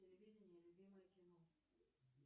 телевидение любимое кино